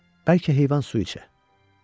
bəlkə heyvan su içə.